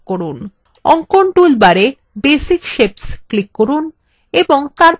অঙ্কন toolbar এ basic shapes click করুন এবং তারপর rectangle এ click করুন